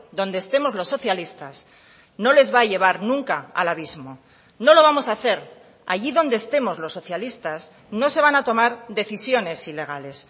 donde estemos los socialistas no les va a llevar nunca al abismo no lo vamos a hacer allí donde estemos los socialistas no se van a tomar decisiones ilegales